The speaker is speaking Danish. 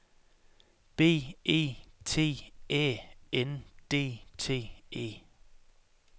B E T Æ N D T E